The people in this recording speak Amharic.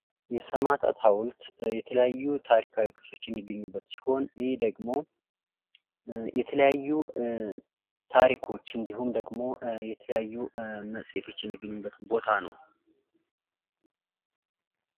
የሰማእታት ሃዉልት የተለያዩ ታሪካዊ ቅርሶች የሚገኙበት ሲሆን ይህ ደግሞ የተለያዩ ታሪኮች እንዲሁም ደግሞ የተለያዩ መጽሄቶች የሚገኙበት ቦታ ነው።